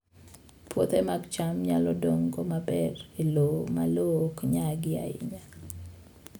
Puothe mag cham nyalo dongo maber e lowo ma lowo ok nyagi ahinya